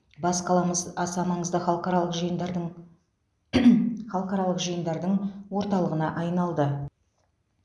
бас қаламыз аса маңызды халықаралық жиындардың халықаралық жиындардың орталығына айналды